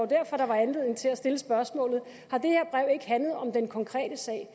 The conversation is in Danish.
derfor der var anledning til at stille spørgsmålet ikke handlet om den konkrete sag